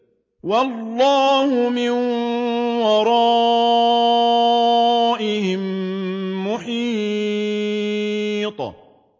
وَاللَّهُ مِن وَرَائِهِم مُّحِيطٌ